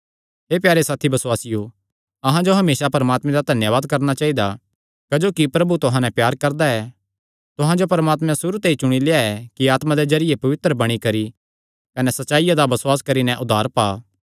हे प्यारे साथी बसुआसियो अहां जो हमेसा परमात्मे दा धन्यावाद करणा चाइदा क्जोकि प्रभु तुहां नैं प्यार करदा ऐ तुहां जो परमात्मैं सुरू ते ई चुणी लेआ कि आत्मा दे जरिये पवित्र बणी करी कने सच्चाईया दा बसुआस करी नैं उद्धार पा